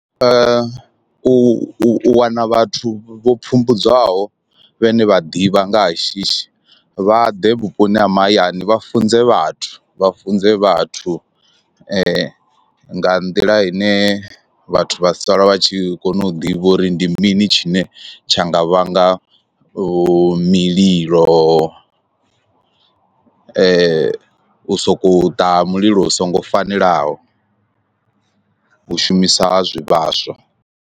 U u wana vhathu vho pfhumbudzwaho vhane vha ḓivha nga ha shishi vha ḓe vhuponi ha mahayani vha funze vhathu vha funze vhathu nga nḓila ine vhathu vha sala vha tshi kona u ḓivha uri ndi mini tshine tsha nga vhanga vho mililo, u so ko u ṱaha mulilo u songo fanelaho, u shumisa zwivhaswa.